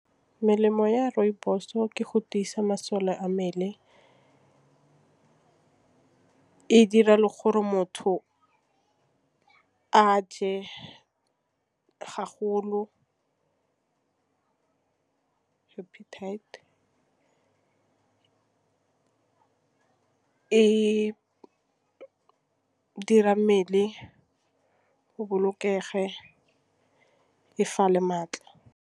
Melemo ya rooibos-o ke go tiisa masole a mmele. E dira le gore motho a je ke appetite, e dira mmele go bolokege e fa le maatla.